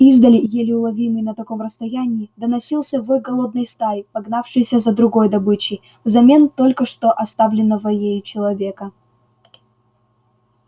издали еле уловимый на таком расстоянии доносился вой голодной стаи погнавшейся за другой добычей взамен только что оставленного ею человека